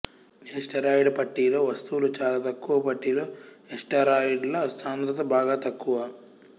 asteroid పట్టీలో వస్తువులు చాలా తక్కువ పట్టీలో ఏస్టెరాయిడ్ల సాంద్రత బాగా తక్కువ